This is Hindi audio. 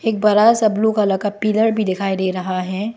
बड़ा सा ब्लू कलर का पिलर भी दिखाई दे रहा है।